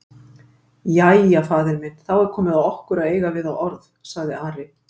Jæja, faðir minn, þá er komið að okkur að eiga við þá orð, sagði Ari.